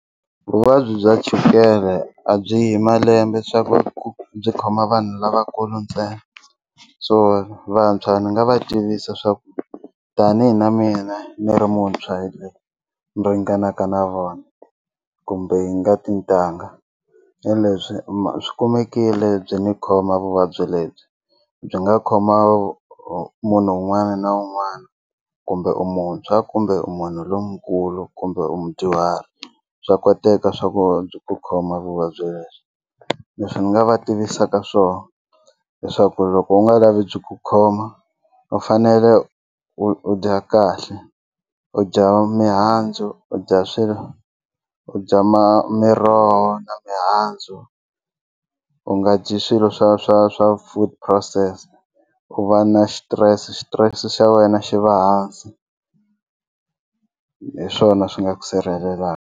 Vuvabyi bya chukele a byi hi malembe swa ku byi khoma vanhu lavakulu ntsena so vantshwa ni nga va tivisa swa ku tani na mina ni ri muntshwa ni ringanaka na vona kumbe hi nga tintangha hi lebyi swi kumekile byi ni khoma vuvabyi lebyi byi nga khoma munhu un'wana na un'wana kumbe u muntshwa kumbe u munhu lonkulu kumbe u mudyuhari bya koteka swa ku byi ku khoma vuvabyi lebyi leswi ni nga va tivisaka swona leswaku loko u nga lavi byi ku khoma u fanele u dya kahle u dya mihandzu u dya swilo u dya ma miroho na mihandzu u nga dyi swilo swa swa swa food phurosese u va na xitirese xitirese xa wena xi va hansi hi swona swi nga ku sirhelelaka.